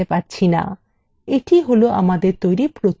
এটিই হল আমাদের তৈরী প্রথম view